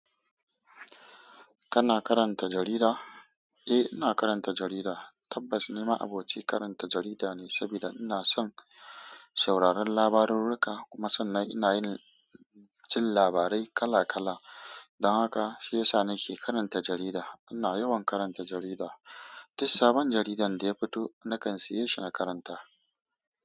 Kana karanta jarida? Eh, ina karanta jarida. Tabbas, ni ma'aboci karanta jarida ne, sabida ina son sauraron labarurruka kuma sannan ina yin jin labarai kala kala. Don haka shi ya sa nake karanta jarida. Ina yawan karanta jarida. Dis sabon jaridan da ya fito, nakan siye shi na karanta.